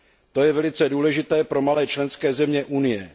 To je velice důležité pro malé členské země Unie.